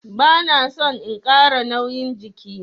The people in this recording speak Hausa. Bana son in Kara nauyin jiki.